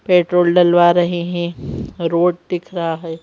Petrol डलवा रहे हैं रोड़ दिख रहा है।